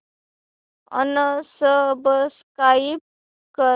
unsubscribe कर